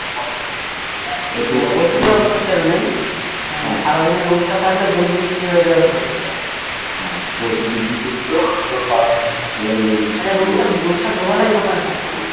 অবশ্যই ওতো Sell নেই সারাদিনে রূপসা থাকলে দুধ বিক্রি হয়ে যাবে প্রচুর টাকার আচ্ছা রূপসা দুবেলায় দোকানে থাকতো না